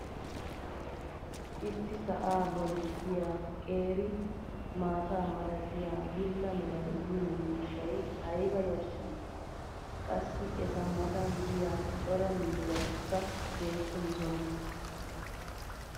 issi sa"aa boli diya qeeri mataa malatiya bula meray diyo miishshay ayba yashii! qassi eta matan diya cora miizzatikka beetoosona.